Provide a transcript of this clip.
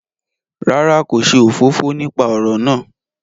Rárá, ko ṣe òfófó nípa ọrọ náà